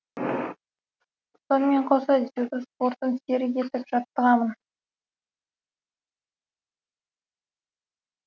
сонымен қоса дзюдо спортын серік етіп жаттығамын